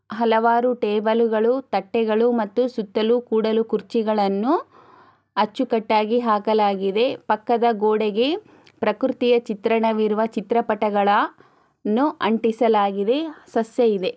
ಹಲವಾರು ಟೇಬಲು ಗಳು ತಟ್ಟೆಗಳು ಮತ್ತು ಸುತ್ತಲೂ ಕೂಡಲೂ ಕುರ್ಚಿಗಳನ್ನು ಅಚ್ಚುಕಟ್ಟಾಗಿ ಹಾಕಲಾಗಿದೆ. ಪಕ್ಕದ ಗೋಡೆಗೆ ಪ್ರಕೃತಿಯ ಚಿತ್ರಣವಿರುವ ಚಿತ್ರಪಟಗಳ ನ್ನು. ಅಂಟಿಸಲಾಗಿವೆ ಸಸ್ಯ ಇದೆ.